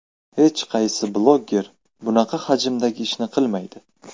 Hech qaysi bloger bunaqa hajmdagi ishni qilmaydi.